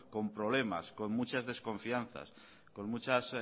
con problemas con muchas desconfianzas con muchas